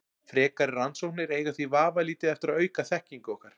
Frekari rannsóknir eiga því vafalítið eftir að auka þekkingu okkar.